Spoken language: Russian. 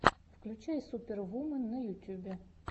включай супервумен на ютьюбе